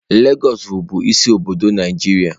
Lagos wụ bụ isi obodo Nigeria.